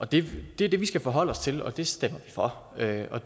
det er det vi skal forholde os til og det stemmer vi for det er